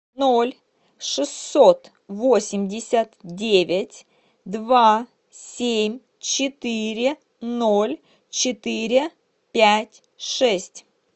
ноль шестьсот восемьдесят девять два семь четыре ноль четыре пять шесть